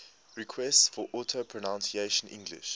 requests for audio pronunciation english